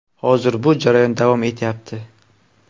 Hozir bu jarayon davom etyapti.